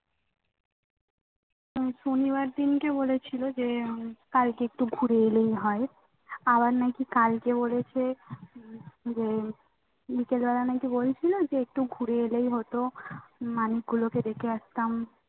শনিবার দিনকে বলেছিলো যে কালকে একটু ঘুরে এলেই হয় আবার নাকি কালকে বলেছে যে যে একটু ঘুরে এলেই হতো মানিকগুলোকে দেখে আসতাম